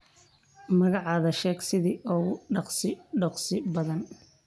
Magacadha sheeg sidhi oo ku dogsii badaan.